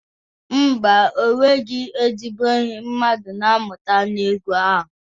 Ḿbà, enweghị ezigbo ihe mmadụ na-amụta n'egwu ahụ.